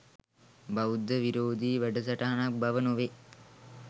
බෞද්ධ විරෝධී වැඩසටහනක් බව නොවේ.